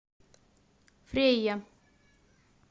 фрейя